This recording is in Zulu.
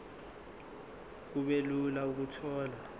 kube lula ukuthola